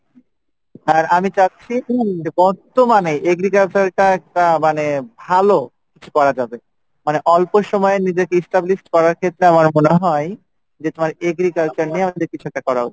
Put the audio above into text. আর আমি চাচ্ছি বর্তমানে agriculture টা একটু মানে ভালো কিছু করা যাবে মানে অল্প সময়ে নিজেকে established করার ক্ষেত্রে আমার মনে হয় যে তোমার agriculture নিয়ে আমাদের কিছু একটা করা উচিৎ।